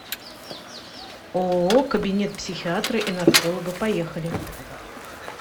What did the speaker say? ооо кабинет психиатра и нарколога поехали